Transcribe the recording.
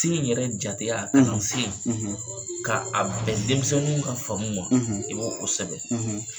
ni yɛrɛ jateya, kalansen, , k'a a bɛn denmisɛnninw ka faamu ma, i b'o o sɛbɛ.